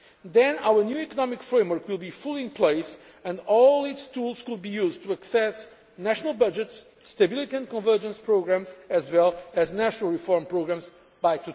Then our new economic framework would be fully in place and all its tools could be used to assess national budgets, Stability and Convergence Programmes, as well as National Reform Programmes